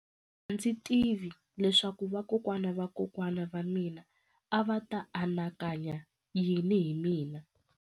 A ndzi tivi leswaku vakokwana-va-vakokwana va mina a va ta anakanya yini hi mina.